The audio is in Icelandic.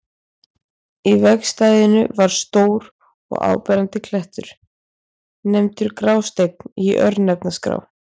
Í vegstæðinu var stór og áberandi klettur, nefndur Grásteinn í örnefnaskrá.